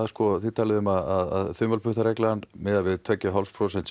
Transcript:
þið talið um að þumalputtareglan miði við tvö og hálft prósent